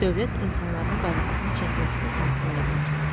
Dövlət insanların qayğısını çəkməkdən imtina eləyər.